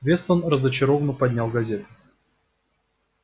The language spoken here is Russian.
вестон разочарованно поднял газету